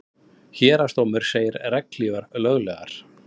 Héraðsdómur segir regnhlífar löglegar